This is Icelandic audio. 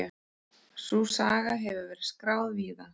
Sú saga hefur verið skráð víða.